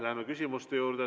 Läheme küsimuste juurde.